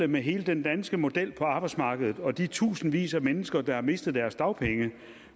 med hele den danske model på arbejdsmarkedet og de tusindvis af mennesker der har mistet deres dagpenge